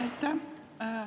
Aitäh!